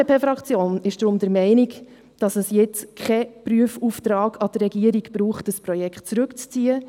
Die FDP-Fraktion ist deshalb der Meinung, dass es jetzt keinen Prüfauftrag zuhanden der Regierung braucht, um das Projekt zurückzuziehen.